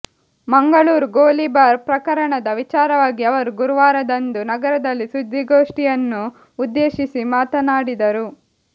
ಮಂಗಳೂರು ಗೋಲಿಬಾರ್ ಪ್ರಕರಣದ ವಿಚಾರವಾಗಿ ಅವರು ಗುರುವಾರದಂದು ನಗರದಲ್ಲಿ ಸುದ್ದಿಗೋಷ್ಠಿಯನ್ನು ಉದ್ದೇಶಿಸಿ ಮಾತನಾಡಿದರು